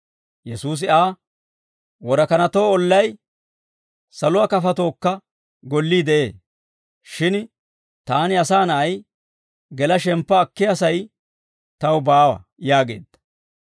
Yesuusi Aa, «Worakanatoo ollay, saluwaa kafatookka gollii de'ee; shin taani, Asaa Na'ay, gela shemppa akkiyaa sa'ay taw baawa» yaageedda.